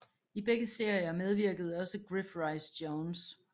I begge serier medvirkede også Griff Rhys Jones